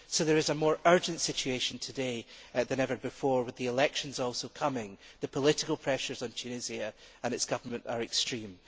So there is a more urgent situation today than ever before and, with the elections also coming, the political pressures on Tunisia are extreme.